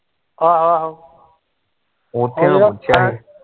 ਆਹੋ ਆਹੋ